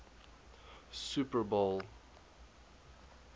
super bowl